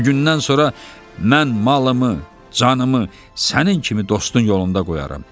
Bugündən sonra mən malımı, canımı sənin kimi dostun yolunda qoyaram.